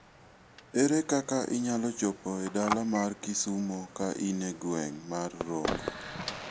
Ere kaka inyalo chopo e dala mar Kisumo ka in e gweng' mar Rongo?